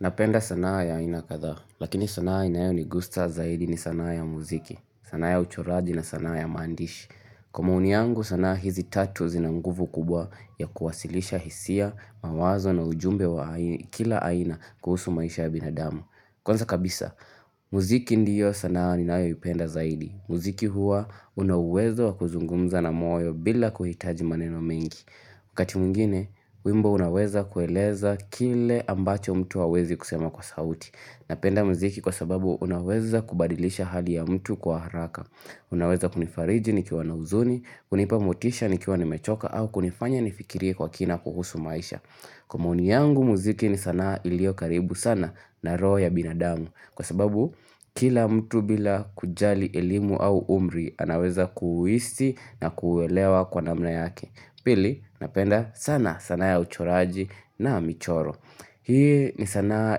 Napenda sanaa ya aina kadhaa, lakini sanaa inayo ni gusta zaidi ni sanaa ya muziki, sanaa ya uchoraji na sanaa ya maandishi. Kwa maoni yangu sanaa hizi tatu zinanguvu kubwa ya kuwasilisha hisia, mawazo na ujumbe wa kila aina kuhusu maisha ya binadamu. Kwanza kabisa, muziki ndiyo sanaa ninayo ipenda zaidi. Muziki hua unauwezo wa kuzungumza na moyo bila kuhitaji maneno mengi. Wakati mwingine, wimbo unaweza kueleza kile ambacho mtu hawezi kusema kwa sauti. Napenda muziki kwa sababu unaweza kubadilisha hali ya mtu kwa haraka. Unaweza kunifariji ni kiwa na uzuni, kunipa motisha ni kiwa ni mechoka au kunifanya ni fikirie kwa kina kuhusu maisha. Kwa maoni yangu muziki ni sana ilio karibu sana na roho ya binadamu. Kwa sababu, kila mtu bila kujali elimu au umri, anaweza kuuhisi na kuuelewa kwa namna yake. Pili, napenda sana sanaa ya uchoraji na michoro. Hii ni sanaa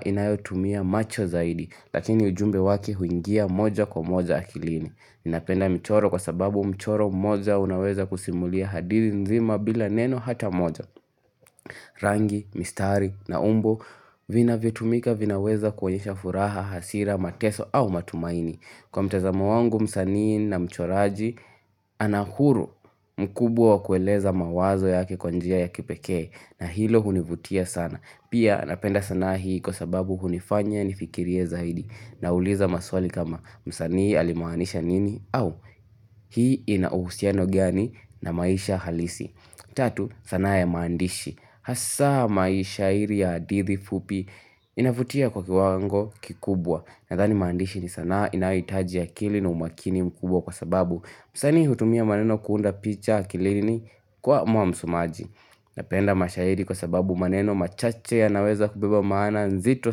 inayotumia macho zaidi, lakini ujumbe wake huingia moja kwa moja akilini. Napenda mchoro kwa sababu mchoro moja unaweza kusimulia hadithi nzima bila neno hata moja. Rangi, mistari na umbo vina vyotumika vinaweza kuonye shafuraha, hasira, mateso au matumaini. Kwa mtazamo wangu msanini na mchoraji anahuru mkubwa kueleza mawazo yake kwanjia ya kipekee na hilo hunivutia sana. Pia napenda sana hii kwa sababu hunifanya nifikirie zaidi na uliza maswali kama msanini alimaanisha nini au hii inauhusiano gani na maisha halisi. Tatu sanaa ya mandishi Hasa maishairi ya hadithi fupi inavutia kwa kiwango kikubwa Nathani maandishi ni sanaa inaitaji akili na umakini mkubwa kwa sababu msanii hutumia maneno kuunda picha akilini kwa mwa msomaji Napenda mashairi kwa sababu maneno machache ya naweza kubeba maana nzito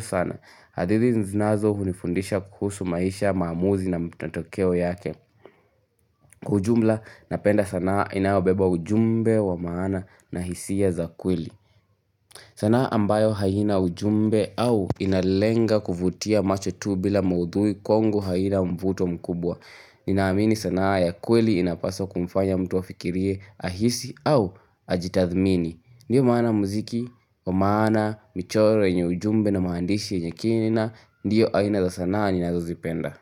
sana hadithi zinazo hunifundisha kuhusu maisha maamuzi na matokeo yake Kwa ujumla napenda sanaa inayobeba ujumbe wa maana na hisia za kweli sanaa ambayo haina ujumbe au inalenga kuvutia macho tu bila maudhui kongu haina mvuto mkubwa Ninaamini sanaa ya kweli inapaswa kumfanya mtua fikirie ahisi au ajitathmini Ndiyo maana muziki, wa maana, michoro yenye ujumbe na maandishi yenye kinina Ndiyo haina za sanaa ninazo zipenda.